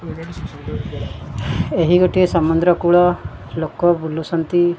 ଏହି ଗୋଟିଏ ସମୁଦ୍ରକୂଳ ଲୋକ ବୁଲୁସନ୍ତି।